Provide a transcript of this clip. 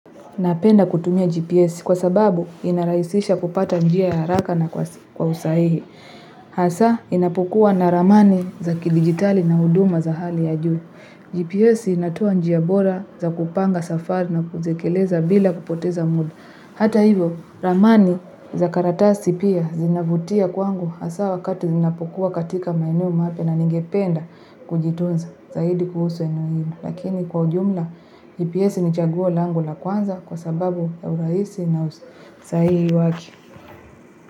Napenda kutumia GPS kwa sababu inarahisisha kupata njia ya haraka na kwa usahihi. Hasa inapokua na ramani za kidigitali na huduma za hali ya juu. GPS inatoa njia bora za kupanga safari na kuzekeleza bila kupoteza muda. Hata hivo, ramani za karatasi pia zinavutia kwangu hasa wakati zinapokua katika maeneo mapya na ningependa kujitunza. Zaidi kuhusu eno hilo, lakini kwa ujumla GPS ni chaguo lango la kwanza kwa sababu ya urahisi na usahihi wake.